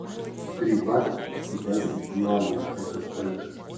три бата в китайских юанях это сколько